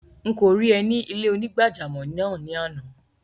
Nkọ rí è ni ilẹ̀-onígbàjàmọ́ náà ni ànà.